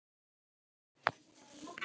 Er Bergsveinn sammála þeirri spá?